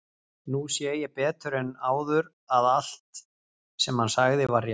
Nú sé ég betur en áður að allt, sem hann sagði, var rétt.